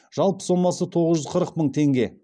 жалпы сомасы тоғыз жүз қырық мың теңге